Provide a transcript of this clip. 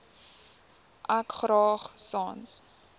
ek graag sans